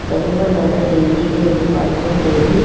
करीमा नगर dairy है department dairy --